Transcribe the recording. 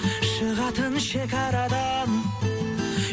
шығатын шекарадан